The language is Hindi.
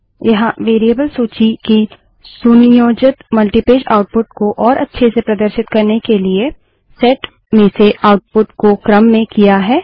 यहाँ वेरिएबल सूची की सुनियोजित मल्टीपेज आउटपुट को और अच्छे से प्रदर्शित करने के लिए सेट में से आउटपुट को क्रम में किया है